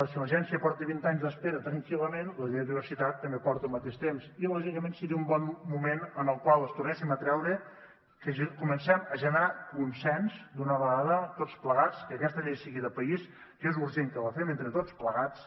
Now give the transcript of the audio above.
si l’agència porta vint anys d’espera tranquil·lament la llei de biodiversitat també porta el mateix temps i lògicament seria un bon moment en el qual ens tornéssim a creure que comencem a generar consens d’una vegada tots plegats que aquesta llei sigui de país que és urgent que la fem entre tots plegats